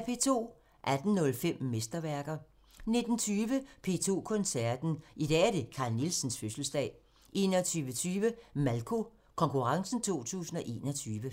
18:05: Mesterværker 19:20: P2 Koncerten – I dag er der Carl Nielsens fødselsdag! 21:20: Malko Konkurrencen 2021